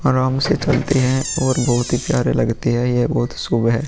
आराम से चलते हैं और बहुत ही प्यारे लगते हैं ये बहुत ही शुभ है।